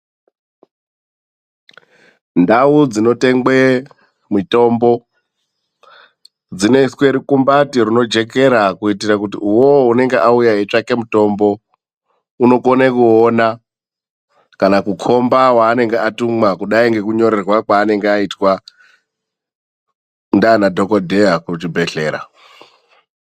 Ndau dzinotengwe mitombo dzinoiswe rukumbati runojekera, kuitire kuti uwowo unenge auya eitsvake mutombo unokone kuona kana kukhomba waanonga atumwa, kudai ngekunyorerwa kwaanenge aitwa ndianaDhogodheya kuzvibhedhlera.